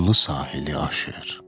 Qumlu sahili aşır.